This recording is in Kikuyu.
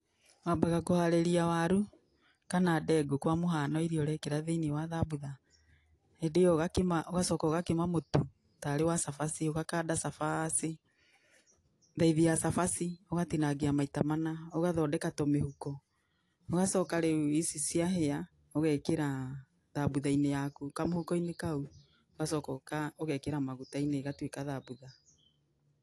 Wambaga kũharĩria waru kana ndengũ kwa mũhano iria ũrekĩra thĩiniĩ wa thabutha. Hĩndĩ ĩyo ũgacoka ũgakima mũtu tarĩ wa cabaci, ũgakanda cabaci, thaithi ya cabaci ũgatinangia maita mana ũgathondeka tũmĩhuko. Ũgacoka rĩu ici ciahĩa ũgekĩra thambutha-inĩ yaku kamũhuko-inĩ kau, ũgacoka ũgekĩra maguta-inĩ igatuĩka thabutha.